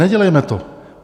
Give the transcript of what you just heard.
Nedělejme to.